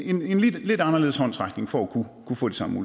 en lidt anderledes håndsrækning for at kunne få de samme